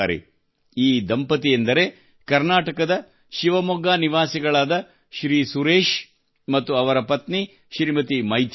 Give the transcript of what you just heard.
ಈ ದಂಪತಿಯೆಂದರೆ ಕರ್ನಾಟಕದ ಶಿವಮೊಗ್ಗ ನಿವಾಸಿಗಳಾದ ಶ್ರೀ ಸುರೇಶ್ ಮತ್ತು ಅವರ ಪತ್ನಿ ಶ್ರೀಮತಿ ಮೈಥಿಲಿ ಜೋಡಿ